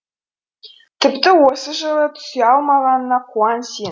тіпті осы жылы түсе алмағаныңа қуан сен